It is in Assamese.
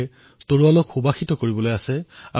फूल की गंध से तलवार को सर करना है